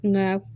Nka